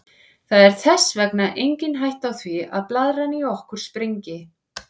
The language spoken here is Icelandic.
Það er þess vegna engin hætta á því að blaðran í okkur springi.